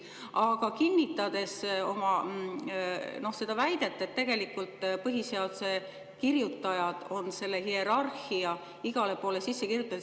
Aga kinnitan oma väidet, et tegelikult põhiseaduse kirjutajad on selle hierarhia igale poole sisse kirjutanud.